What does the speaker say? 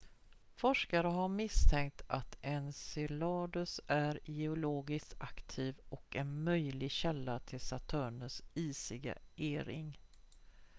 forskare har misstänkt att enceladus är geologiskt aktiv och en möjlig källa till saturnus isiga e-ring